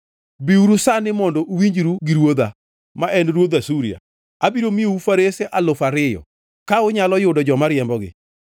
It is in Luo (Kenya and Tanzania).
“ ‘Biuru sani mondo uwinjru gi ruodha, ma en ruodh Asuria: Abiro miyou farese alufu ariyo, ka unyalo yudo joma riembogi!